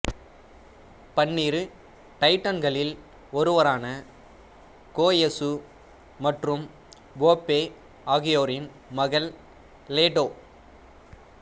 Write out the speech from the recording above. பன்னிரு டைட்டன்களில் ஒருவரான கோயசு மற்றும் ஃபோபே ஆகியோரின் மகள் லெடோ